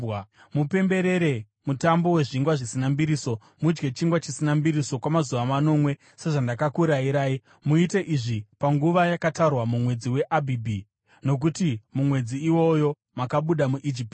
“Mupemberere Mutambo weZvingwa Zvisina Mbiriso. Mudye chingwa chisina mbiriso kwamazuva manomwe, sezvandakurayirai. Muite izvi panguva yakatarwa mumwedzi waAbhibhi, nokuti mumwedzi iwoyo makabuda muIjipiti.